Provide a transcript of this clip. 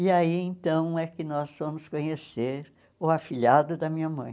E aí, então, é que nós fomos conhecer o afilhado da minha mãe.